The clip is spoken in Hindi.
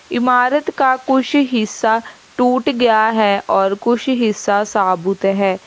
इमारत का कुछ हिस्सा टूट गया है और कुछ हिस्सा साबुत है।